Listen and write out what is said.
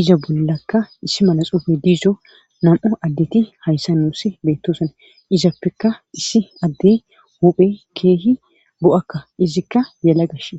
iza bollakka issi mala xuufe diza nam'u addet hayssan nuussi botoosona izappeka issi adde huphe keehi bo'akka izikka yelagashin.